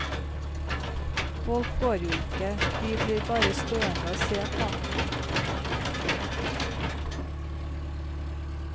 Folk går jo ikke, de blir bare stående og se på.